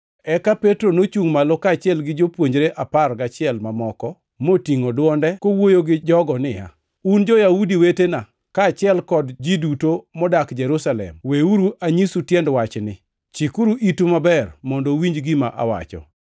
Eka Petro nochungʼ malo, kaachiel gi jopuonjre apar gachiel mamoko, motingʼo dwonde kowuoyo gi jogo niya, “Un jo-Yahudi wetena, kaachiel kod ji duto modak Jerusalem, weuru anyisu tiend wachni. Chikuru itu maber mondo uwinj gima awacho.